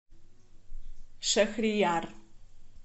шахрияр